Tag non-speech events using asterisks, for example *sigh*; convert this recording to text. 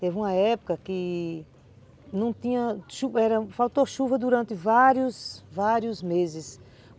Teve uma época que não tinha... *unintelligible* faltou chuva durante vários, vários meses.